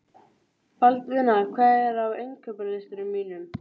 Baldvina, hvað er á innkaupalistanum mínum?